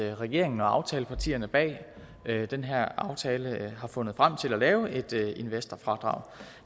regeringen og aftalepartierne bag den her aftale har fundet frem til at lave et investorfradrag